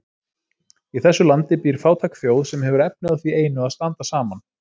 Í þessu landi býr fátæk þjóð, sem hefur efni á því einu að standa saman.